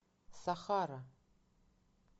сахара